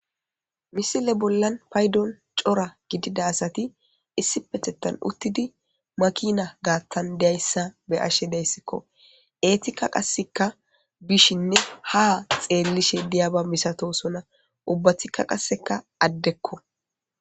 Misile bollan paydon cora gidida asati issi petetan uttidi makina gaattan deayssa be ashe deyssikko eetikka qasseka bishinne ha xeellishe diyaba misatosona ubbathikka qasseka addekko.